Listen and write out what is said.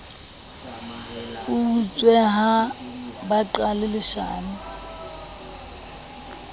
utswe ha ba qale leshano